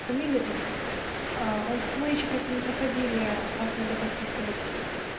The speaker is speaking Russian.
фамилия имя он мы ещё просто не проходили как надо подписывать